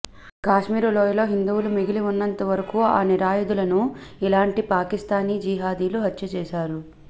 కాశ్మీరులోయలో హిందువులు మిగిలి ఉన్నంతవరకు ఆ నిరాయుధులను ఇలాంటి పాకిస్తానీ జిహాదీలు హత్య చేశారు